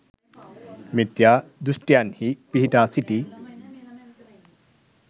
මිථ්‍යා දෘෂ්ඨින්හි පිහිටා සිටි